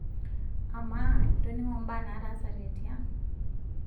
amaa itoningo imbaa naatasate tiang?